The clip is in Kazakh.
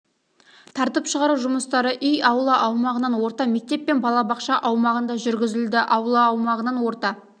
тартып шығару жұмыстары үй аула аумағынан орта мектеп пен балабақша аумағында жүргізілді аула аумағынан орта